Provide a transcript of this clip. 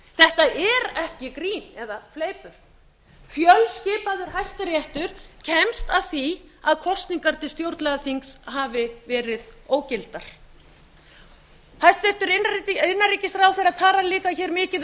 þetta er ekki grín eða fleipur fjölskipaður hæstiréttur kemst að því að kosningar til stjórnlagaþings hafi verið ógildar hæstvirtur innanríkisráðherra talar hér líka mikið um að það hafi ekki verið brotin réttindi